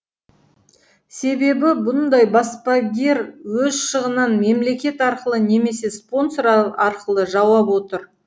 себебі бұндай баспагер өз шығынын мемлекет арқылы немесе спонсор арқылы жауып отыр